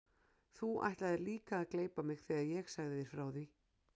Þú ætlaðir líka að gleypa mig þegar ég sagði þér frá því.